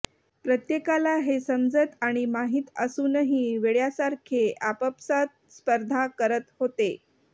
प्रत्येकाला हे समजत आणि माहीत असूनही वेड्यासारखे आपापसात स्पर्धा करत होते